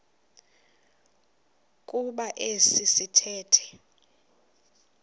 kuba esi sithethe